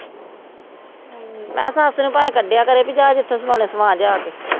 ਮੈਂ ਕਿਹਾ ਸੱਸ ਨੂੰ ਭਾਵੇਂ ਕੱਢਿਆ ਕਰੇ, ਬਈ ਜਾ ਜਿੱਥੋਂ ਸਮਾਉਣੇ ਸਮਾ ਜਾ ਕੇ